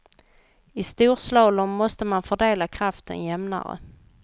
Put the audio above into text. I storslalom måste man fördela kraften jämnare.